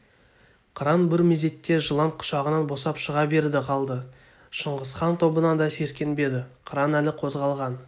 қыран бір мезетте жылан құшағынан босап шыға берді қалды шыңғысхан тобынан да сескенбеді қыран әлі қозғалған